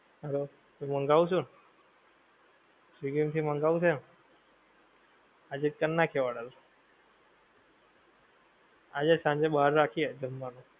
Hello. તો મંગાવસું, Swiggy માંથી મંગાવવું છે? આજે કર નાખીએ order. આજે સાંજે બાર રાખીએ જમવાનું